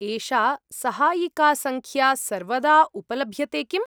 एषा सहायिकासङ्ख्या सर्वदा उपलभ्यते किम्?